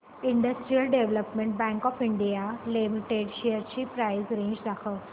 industrial development bank of India limited shares ची price range दाखव